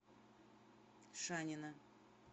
шанина